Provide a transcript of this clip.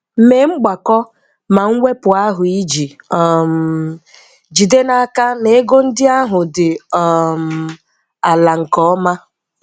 Mee mgbakọ na mwepụ ahụ iji um jide n'aka na ego ndị ahụ dị um ala nke ọma.